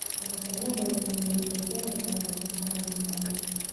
Hawlgallada waaweyn waxay gaari karaan dhaqaale miisaan leh.